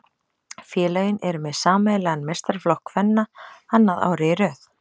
Félögin eru með sameiginlegan meistaraflokk kvenna annað árið í röð.